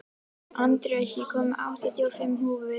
Andreas, ég kom með áttatíu og fimm húfur!